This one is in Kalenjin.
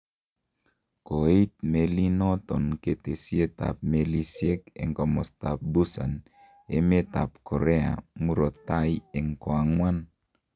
Kooit melinoton ketesiet ab melisiek en komostoab Busan emet ab Korea murto taai en koang'wan.